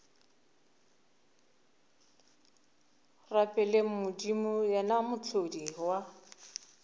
rapeleng modimo yena mohlodi wa